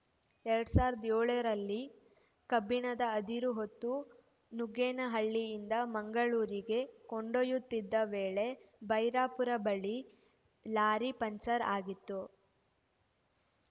ಎರಡ್ ಸಾವಿರದ ಏಳರಲ್ಲಿ ಕಬ್ಬಿಣದ ಅದಿರು ಹೊತ್ತು ನುಗ್ಗೇನಹಳ್ಳಿಯಿಂದ ಮಂಗಳೂರಿಗೆ ಕೊಂಡೊಯ್ಯುತ್ತಿದ್ದ ವೇಳೆ ಬೈರಾಪುರ ಬಳಿ ಲಾರಿ ಪಂಕ್ಚರ್‌ ಆಗಿತ್ತು